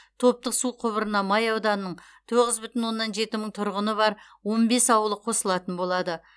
топтық су құбырына май ауданының тоғыз бүтін оннан жеті мың тұрғыны бар он бес ауылы қосылатын болады